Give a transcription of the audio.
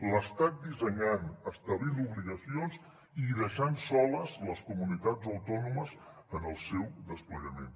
l’estat dissenyant establint obligacions i deixant soles les comunitats autònomes en el seu desplegament